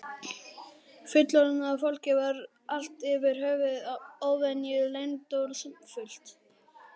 Fullorðna fólkið var allt yfir höfuð óvenju leyndardómsfullt.